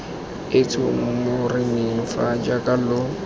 etsho moreneng fa jaaka lo